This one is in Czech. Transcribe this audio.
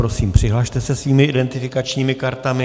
Prosím, přihlaste se svými identifikačními kartami.